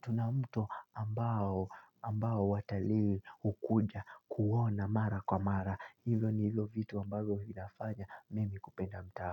tuna mto ambao ambao watalii hukuja kuona mara kwa mara. Hivyo ni hivyo vitu ambavyo vinafanya mimi kupenda mtaa.